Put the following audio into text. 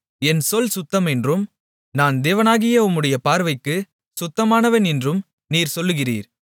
என் சொல் சுத்தம் என்றும் நான் தேவனாகிய உம்முடைய பார்வைக்கு சுத்தமானவன் என்றும் நீர் சொல்லுகிறீர்